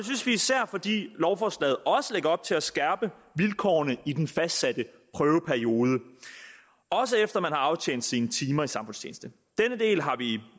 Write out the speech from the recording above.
synes vi især fordi lovforslaget også lægger op til at skærpe vilkårene i den fastsatte prøveperiode også efter at man har aftjent sine timer i samfundstjeneste denne del har vi